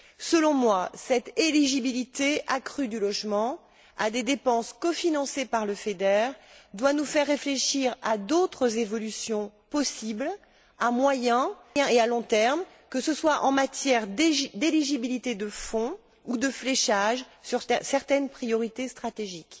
Selon moi, cette éligibilité accrue du logement à des dépenses cofinancées par le FEDER doit nous faire réfléchir à d'autres évolutions possibles, à moyen et à long terme, que ce soit en matière d'éligibilité de fonds ou de fléchage sur certaines priorités stratégiques.